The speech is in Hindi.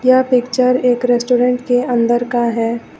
यह पिक्चर एक रेस्टोरेंट के अंदर का है।